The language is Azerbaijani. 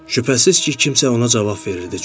Şübhəsiz ki, kimsə ona cavab verirdi,